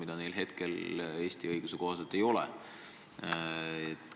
Praegu neil Eesti õiguse kohaselt seda võimalust ei ole.